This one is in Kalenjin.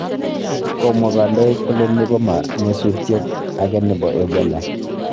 Komwa kandoik kole ni ko ma nyasutiek age nebo Ebola